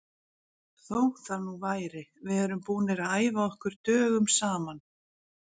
Þó það nú væri, við erum búnir að æfa okkur dögum saman.